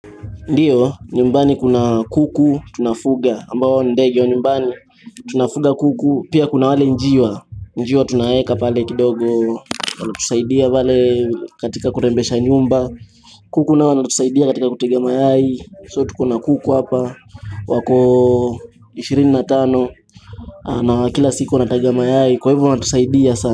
Ndiyo, nyumbani kuna kuku, tunafuga, ambao ni ndege wa nyumbani, tunafuga kuku, pia kuna wale njiwa, njiwa tunawaeka pale kidogo, wanatusaidia wale katika kurembesha nyumba, kuku nao wametusaidia katika kutega mayai, so tuko na kuku hapa, wako ishirini na tano, na kila siku wanataga mayai, kwa hivyo wanatusaidia sana.